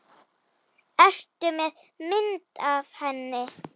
Ertu með mynd af henni?